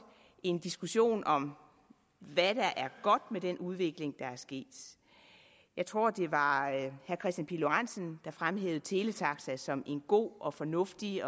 en diskussion om hvad der er godt ved den udvikling der er sket jeg tror det var herre kristian pihl lorentzen der fremhævede teletaxa som en god og fornuftig